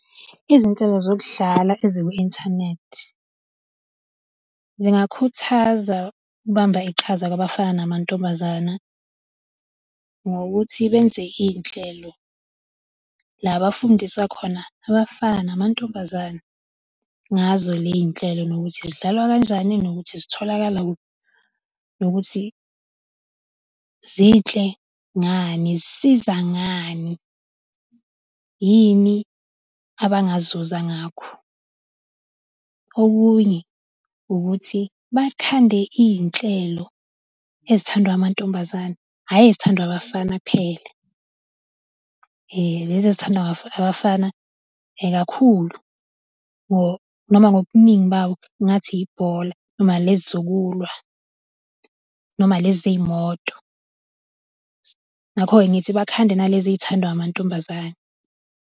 Izinto zokudlala eziku-inthanethi zingakhuthaza ukubamba iqhaza kubafana namantombazane ngokuthi benze iy'nhlelo la abafundisa khona abafana namantombazane ngazo ley'nhlelo nokuthi zidlalwa kanjani nokuthi zitholakala kuphi, nokuthi zinhle ngani zisiza ngani, yini abangazuza ngakho. Okunye ukuthi bakhande iy'nhlelo ezithandwa amantombazane hhayi ezithandwa abafana kuphela. Lezi ezithandwa abafana kuphela kakhulu or noma ngobuningi bawo ngingathi ibhola, nalezi zokulwa noma lezi zey'moto. Ngakho-ke, ngithi bakhande nalezi ey'thandwa amantombazane.